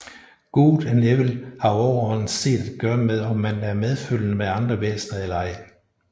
Good og Evil har overordnet set at gøre med om man er medfølende med andre væsner eller ej